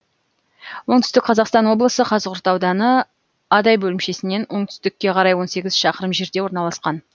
оңтүстік қазақстан облысы қазығұрт ауданы адай бөлімшесінен оңтүстікке қарай он сегіз шақырым жерде орналасқан